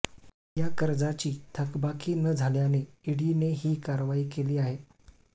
याकर्जाची थकबाकी न झाल्याने ईडीने ही कारवाई केली आहे